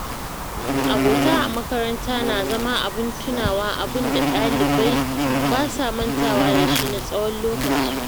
Abota a makaranta na zama abin tunawa abinda ɗalibai basa mantawa da shi na tsawon lokaci.